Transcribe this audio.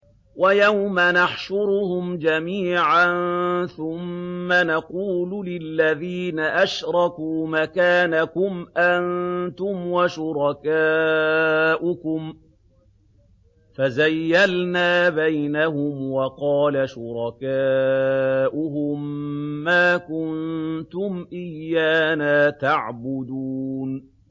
وَيَوْمَ نَحْشُرُهُمْ جَمِيعًا ثُمَّ نَقُولُ لِلَّذِينَ أَشْرَكُوا مَكَانَكُمْ أَنتُمْ وَشُرَكَاؤُكُمْ ۚ فَزَيَّلْنَا بَيْنَهُمْ ۖ وَقَالَ شُرَكَاؤُهُم مَّا كُنتُمْ إِيَّانَا تَعْبُدُونَ